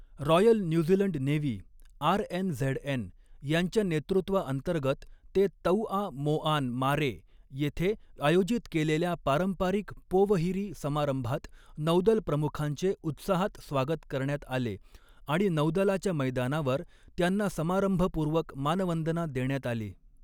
Royal New Zealand navy RNZN यांच्या नेतृत्वाअंतर्गत ते तौआ मोआन मारे येथे आयोजित केलेल्या पारंपारिक पोवहिरी समारंभात नौदल प्रमुखांचे उत्साहात स्वागत करण्यात आले आणि नौदलाच्या मैदानावर त्यांना समारंभपूर्वक मानवंदना देण्यात आली.